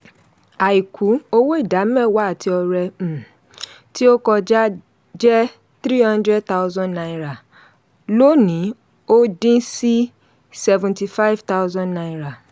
àìkú: owó ìdámẹ́wàá àti ọrẹ um tó kọjá jẹ́ three hundred thousand naira lónìí ó dín sí seventy five thousand naira